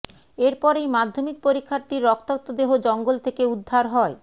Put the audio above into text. এরপরেই মাধ্যমিক পরীক্ষার্থীর রক্তাক্ত দেহ জঙ্গল থেকে উদ্ধার হয়